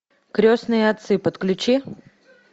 крестные отцы подключи